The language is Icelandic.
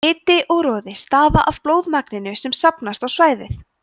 hiti og roði stafa af blóðmagninu sem safnast á svæðið